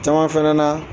Caman fɛnɛ na